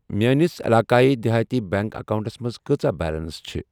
میٲنِس عِلاقایی دِہاتی بیٚنٛک اکاونٹَس منٛٛز کۭژاہ بیلنس چھ ۔